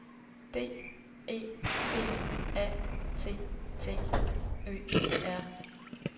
D E B A T T Ø R